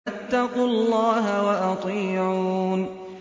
فَاتَّقُوا اللَّهَ وَأَطِيعُونِ